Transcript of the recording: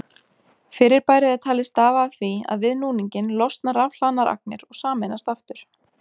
Fyrirbærið er talið stafa af því að við núninginn losna rafhlaðnar agnir og sameinast aftur.